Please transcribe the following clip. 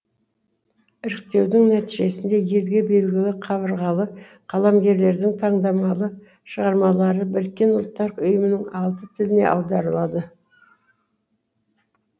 іріктеудің нәтижесінде елге белгілі қабырғалы қаламгерлердің таңдамалы шығармалары біріккен ұлттар ұйымының алты тіліне аударылады